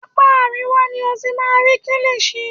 Apá àríwá ni o ti máa rí kílìṣi.